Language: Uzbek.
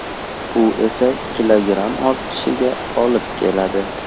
Bu esa kilogramm ortishiga olib keladi.